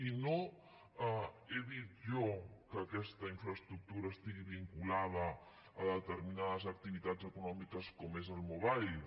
i no he dit jo que aquesta infraestructura estigui vinculada a determinades activitats econòmiques com és el mobile